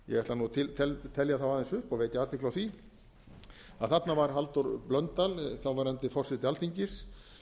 ætla nú að telja þá aðeins upp og vekja athygli á því þarna var halldór blöndal þáverandi forseti alþingis